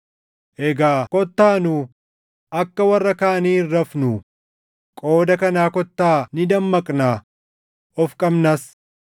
Egaa kottaa nu akka warra kaanii hin rafnuu; qooda kanaa kottaa ni dammaqnaa; of qabnas.